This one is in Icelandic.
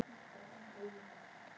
Já, það er þetta sem ég meina!